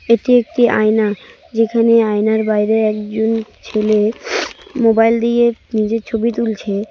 এটি একটি আয়না যেখানে আয়নার বাইরে একজন ছেলে মোবাইল দিয়ে নিজের ছবি তুলছে।